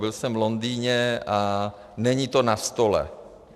Byl jsem v Londýně, a není to na stole.